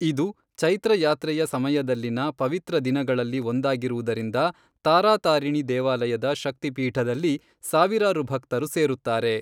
ಇದು ಚೈತ್ರ ಯಾತ್ರೆಯ ಸಮಯದಲ್ಲಿನ ಪವಿತ್ರ ದಿನಗಳಲ್ಲಿ ಒಂದಾಗಿರುವುದರಿಂದ ತಾರಾತಾರಿಣಿ ದೇವಾಲಯದ ಶಕ್ತಿ ಪೀಠದಲ್ಲಿ ಸಾವಿರಾರು ಭಕ್ತರು ಸೇರುತ್ತಾರೆ.